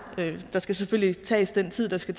skal der selvfølgelig tages den tid der skal